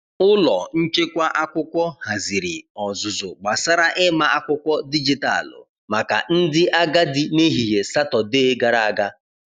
Ụlọ nchekwa akwụkwọ haziri ọzụzụ gbasara ịma akwụkwọ dijitalụ maka ndị agadi n’ehihie Satọdee gara aga.